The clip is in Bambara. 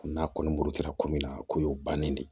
N'a kɔni muru taara komin na ko y'o bannen de